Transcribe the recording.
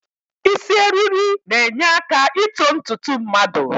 Isi eriri na-enyeaka ito ntutu mmadụ